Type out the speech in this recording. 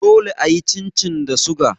Dole a yi chin chin da suga.